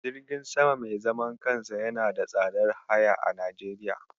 Jirgin sama mai zaman kansa yana da tsadar haya a Najeriya.